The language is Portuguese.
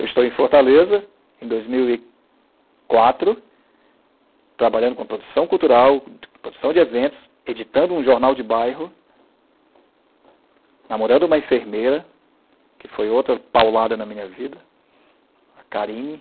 Eu estou em Fortaleza, em dois mil e quatro, trabalhando com produção cultural, produção de eventos, editando um jornal de bairro, namorando uma enfermeira, que foi outra paulada na minha vida, a Karine.